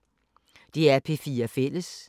DR P4 Fælles